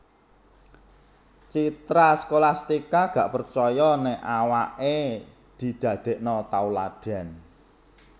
Citra Scholastika gak percoyo nek awak e didadekno tauladan